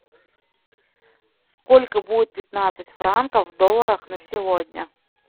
сколько будет пятнадцать франков в долларах на сегодня